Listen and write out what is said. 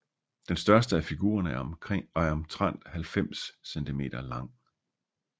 Den største af figurerne er omtrent 90 cm lang